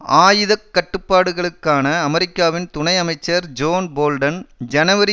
ஆயுத கட்டுப்பாடுகளுக்கான அமெரிக்காவின் துணை அமைச்சர் ஜோன் போல்டன் ஜனவரி